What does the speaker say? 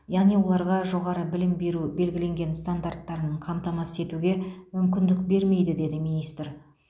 яғни оларға жоғары білім беру белгіленген стандарттарын қамтамасыз етуге мүмкіндік бермейді деді министр